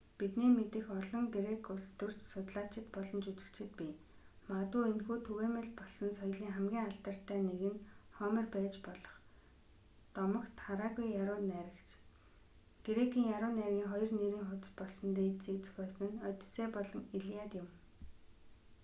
бидний мэдэх олон грек улс төрч судлаачид болон жүжигчид бий магадгүй энэхүү түгээмэл болсон соёлын хамгийн алдартай нэг нь хомер байж болох дотогт хараагүй яруу найрагч грекийн яруу найргын 2 нэрийн хуудас болсон дээжисийг зохиосон нь оддисей болон илиад юм